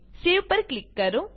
સેવ પર ક્લિક કરો